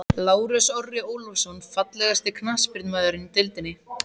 Lárus Orri Ólafsson Fallegasti knattspyrnumaðurinn í deildinni?